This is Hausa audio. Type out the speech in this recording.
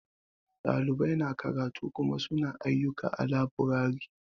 Ɗalibai na karatu Kuma su na ayyuka a laburare.